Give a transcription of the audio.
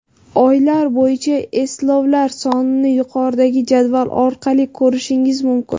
Oylar bo‘yicha eslovlar sonini yuqoridagi jadval orqali ko‘rishingiz mumkin.